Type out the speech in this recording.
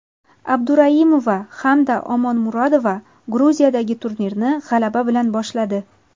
Abduraimova hamda Omonmurodova Gruziyadagi turnirni g‘alaba bilan boshladi.